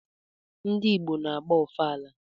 Ndị Igbo na-agba ọfala